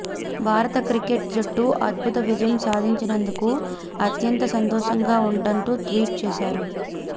భారత క్రికెట్ జట్టు అద్భుత విజయం సాధించినందుకు అత్యంత సంతోషంగా ఉందంటూ ట్వీట్ చేశారు